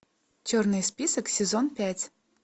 черный список сезон пять